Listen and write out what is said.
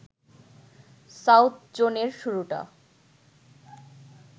south জোনের শুরুটা